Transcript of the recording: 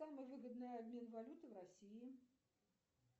самый выгодный обмен валюты в россии